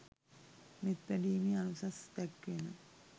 මෙත් වැඩීමේ අනුසස් දැක්වෙන